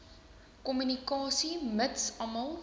kommunikasie mits almal